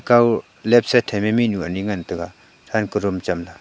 kao left side thai be mihnu anyi ngan taiga than ko rum cham ley.